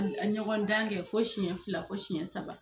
ɲɔgɔn dan kɛ fo siyɛn fila fo siyɛn saba.